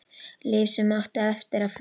Líf sem átti eftir að flögra.